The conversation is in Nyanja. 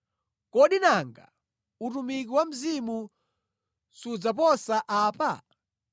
kodi nanga utumiki wa Mzimu sudzaposa apa?